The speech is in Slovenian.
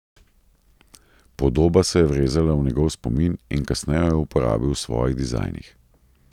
Podoba se je vrezala v njegov spomin in kasneje jo je uporabil v svojih dizajnih.